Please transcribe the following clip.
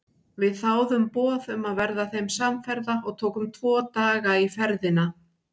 Við þáðum boð um að verða þeim samferða og tókum tvo daga í ferðina.